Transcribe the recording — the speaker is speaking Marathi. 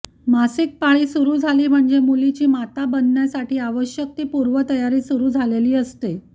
मासिकपाळी सुरु झाली म्हणजे मुलीची माता बनण्यासाठी आवश्यक ती पूर्वतयारी सुरु झालेली असते